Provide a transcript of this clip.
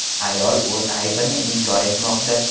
Ayol o‘z aybini inkor etmoqda.